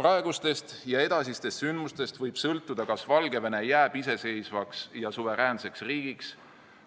Praegustest ja edasistest sündmustest võib sõltuda, kas Valgevene jääb iseseisvaks ja suveräänseks riigiks,